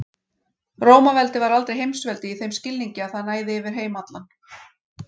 Rómaveldi var aldrei heimsveldi í þeim skilningi að það næði yfir heim allan.